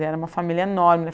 E era uma família enorme